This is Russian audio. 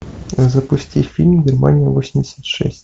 запусти фильм германия восемьдесят шесть